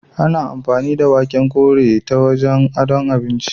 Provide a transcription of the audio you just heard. Ana amfani da waken ƙore ta wajen adon abinci.